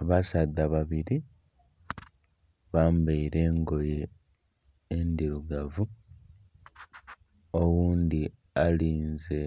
Abasaadha babiri bambeire engoye endhirugavu oghundhi alinze